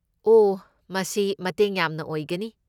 ꯑꯣꯍ, ꯃꯁꯤ ꯃꯇꯦꯡ ꯌꯥꯝꯅ ꯑꯣꯏꯒꯅꯤ꯫